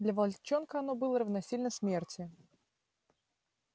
для волчонка оно было равносильно смерти